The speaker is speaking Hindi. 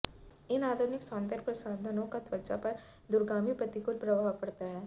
इन आधुनिक सौंदर्य प्रसाधनों का त्वचा पर दूरगामी प्रतिकूल प्रभाव पड़ता है